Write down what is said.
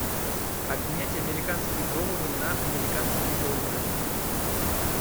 обменять американские доллары на американские доллары